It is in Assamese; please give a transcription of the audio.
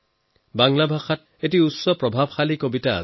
বাংলাত এটা বৰ প্ৰভাৱশালী কবিতা আছে